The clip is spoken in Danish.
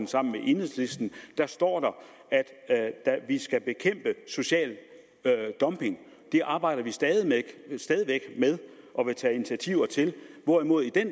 sammen med enhedslisten står der at vi skal bekæmpe social dumping det arbejder vi stadig væk med og vil tage initiativer til hvorimod i det